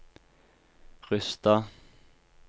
Rysstad